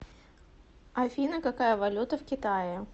афина какая валюта в китае